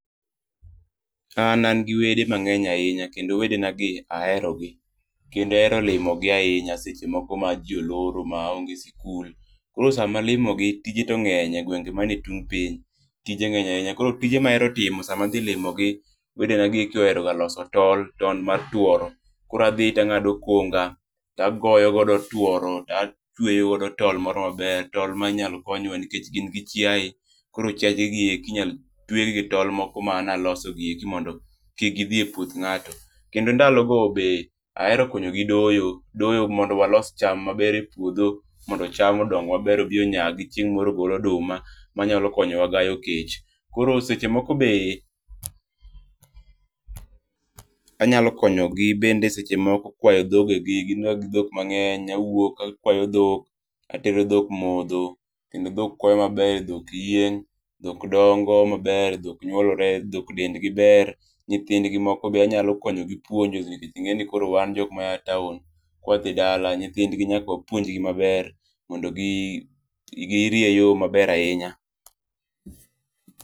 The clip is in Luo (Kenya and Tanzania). An an gi wede mangeny ahinya kendo wedena gi aherogi kendo ahero limogi ahinya seche moko ma jii oloro maonge sikul. Koro sama alimogi tije to ngeny e gwenge manie tung piny. Tije ngeny ahinya, tije mahero timo sama adhi limogi wedenagi ohero loso tol, tol mar tuoro, koro adhi to angado konga tagoyo godo tuoro to atweyo godo tol moro maber, tol moro manyalo konyo nikech gin gi chiaye koro chiaje gieki inyal twegi gi tol maloso gieki mondo kik gidhi e puoth ngato. Kendo ndalogo be ahero konyogi doyo, doyo mondo walos cham maber e puodho mondo cham odong maber odhi onyagi chieng moro ogol oduma obi okonywa gayo kech. Koro seche moko be, anyalo konyogi bende kwayo dhoge gi, gin ga gi dhok mangeny. Awuok akwayo dhok, atero dhok modho, kendo dhok kwayo maber, dhok yieng, dhok dongo maber, dhok nyuolore, dhok dendgi ber. Nyithindgi moko be anyalo konyo puonjogi nikech ingeni koro wan jok maya taon ka wadhi dala, nyithindgi nyaka wapuonj gi maber mondo girie yoo maber hinya